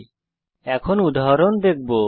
এখন আমরা একটি উদাহরণ দেখব